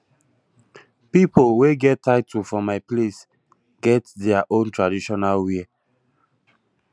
pipo wey get title for my place get their own traditional wear